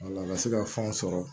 Wala ka se ka fɛnw sɔrɔ